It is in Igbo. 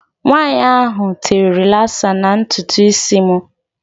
Nwaanyi ahụ tere rilasa na ntutu isi m.